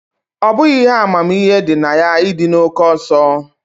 Ọ bụghị ihe amamihe dị na ya ịdị na oke ọsọ